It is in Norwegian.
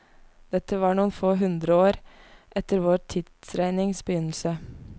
Dette var noen få hundreår etter vår tidsregnings begynnelse.